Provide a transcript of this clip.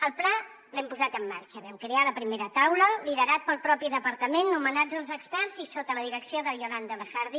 el pla l’hem posat en marxa vam crear la primera taula liderat pel propi departament nomenats els experts i sota la direcció de yolanda lejardi